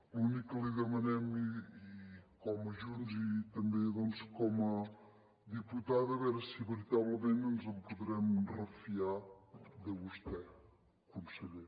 l’únic que li demanem com a junts i també doncs com a diputada a veure si veritablement ens en podrem refiar de vostè conseller